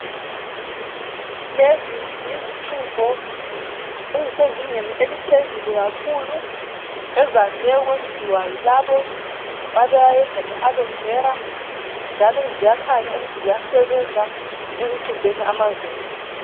Lezi yizixubho, ezisezingeni eliphezulu kakhulu ezande ukwenziwa yilabo abayenza nge Alovera njalo ziyakhanya ukuthi ziyasebenza ekuxubheni amazinyo.